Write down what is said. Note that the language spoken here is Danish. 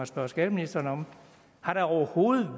spørge skatteministeren om har der overhovedet